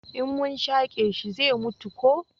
in mun shake shi zai mutu ko